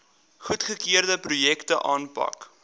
goedgekeurde projekte aanpak